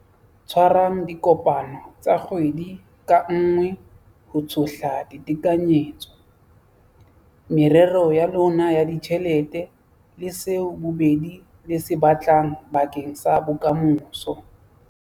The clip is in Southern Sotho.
Tshwarang dikopano tsa kgwedi ka nngwe ho tshohla ditekanyetso, merero ya lona ya ditjhelete le seo bobedi le se batlang bakeng sa bokamoso.